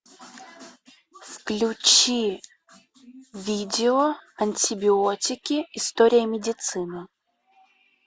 включи видео антибиотики история медицины